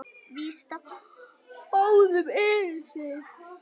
Víst á báðum eruð þið.